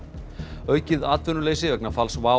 aukið atvinnuleysi vegna falls WOW